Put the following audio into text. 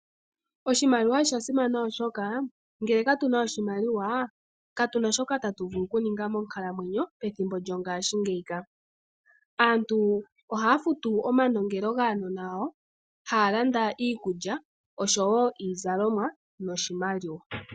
Oshimaliwa osha simana oshoka, ngele katu na oshimaliwa, katu na shoka tatu vulu okuninga moonkalamwenyo pethimbo lyongashingeyi. Aantu oha ya futu omanongelo gaanona yawo , haa landa iikulya osho woo iizalomwa noshimaliwa.